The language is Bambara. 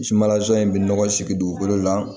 Sumala zon in bɛ nɔgɔ sigi dugukolo la